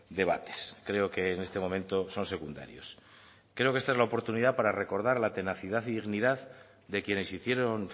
debates creo que en este momento son secundarios creo que esta es la oportunidad para recordar la tenacidad y dignidad de quienes hicieron